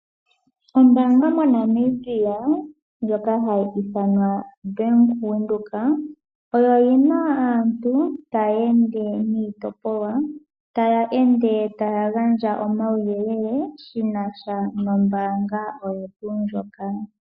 Ombaanga moNamibia ndjoka hayi ithanwa Bank Windhoek oyo yina aantu taya ende niitopolwa , taya ende taya gandja omauyelele shinasha nombaanga oyo tuu ndjoka.